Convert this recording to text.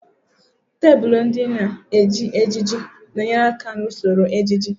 Tebụl ndị a na-eji ejiji na-enyere aka n'usoro ejiji.